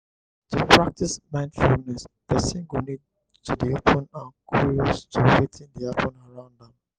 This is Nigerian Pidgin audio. to practice mindfulness person go need to dey open and curious to wetin dey happen around am